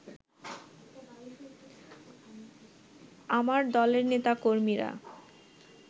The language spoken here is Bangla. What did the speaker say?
আমার দলের নেতা-কর্মীরা